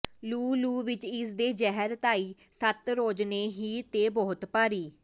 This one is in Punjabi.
ਲੂੰ ਲੂੰ ਵਿੱਚ ਏਸ ਦੇ ਜ਼ਹਿਰ ਧਾਈ ਸੱਤ ਰੋਜ਼ ਨੇ ਹੀਰ ਤੇ ਬਹੁਤ ਭਾਰੀ